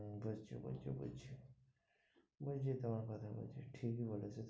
বলছে বলছে বলছে তোমার কথা বলছে, ঠিক ই বলেছ তুমি।